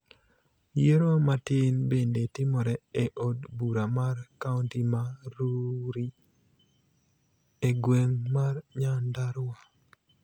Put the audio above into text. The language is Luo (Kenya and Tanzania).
Yiero matin bende timore e od bura mar kaonti ma Rurii e gweng' mar Nyandarua